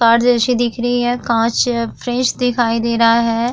Car जैसी दिख रही है कांच फ्रेश दिखाई दे रहा है।